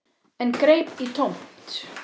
En greip í tómt.